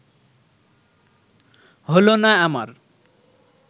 হলো না আমার